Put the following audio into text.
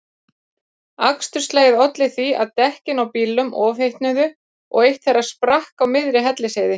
Aksturslagið olli því að dekkin á bílnum ofhitnuðu og eitt þeirra sprakk á miðri Hellisheiði.